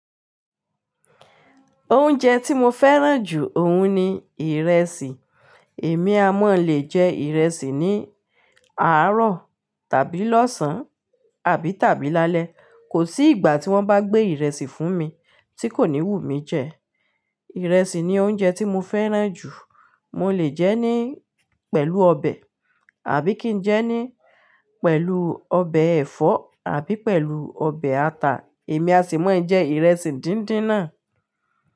Oúnjẹ tí mo fẹ́ràn jù òun ni ìrẹsì. Èmi a máa le jẹ ìrẹsì ní àárọ̀ tàbí lọ́sàn-án àbí tàbí lálẹ́. Kò sí ìgbà tí wọ́n bá gbé ìrẹsì fún mi tí kò ní wù mí jẹ. Ìrẹsì ni oúnjẹ tí mo fẹ́ràn jù. Mo lè jẹ́ ní pẹ̀lú ọbẹ̀, àbí kí n jẹ́ ní pẹ̀lú ọbẹ̀ ẹ̀fọ́, àbí pẹ̀lú ọbẹ̀ ata. Èmi a sì máa jẹ ìrẹsì díndín náà.